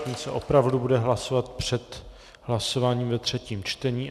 Ten se opravdu bude hlasovat před hlasováním ve třetím čtení.